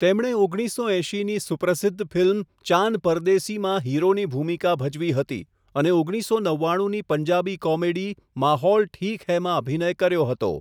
તેમણે ઓગણીસસો એંશીની સુપ્રસિદ્ધ ફિલ્મ 'ચાન પરદેસી' માં હીરોની ભૂમિકા ભજવી હતી અને ઓગણીસો નવ્વાણુંની પંજાબી કોમેડી 'માહૌલ ઠીક હૈ' માં અભિનય કર્યો હતો.